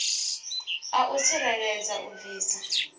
a u tsireledza u bvisa